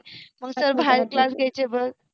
मंग सर बाहेर क्लास घ्यायाचे बघ